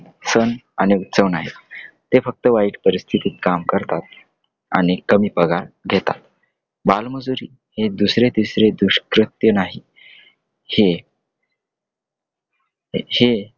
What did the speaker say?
सण आणि उत्सव नाही. ते फक्त वाईट परिस्थितीत काम करतात आणि कमी पगार देतात. बालमजुरी हे दुसरे तिसरे दुष्कृत्य नाही हे हे.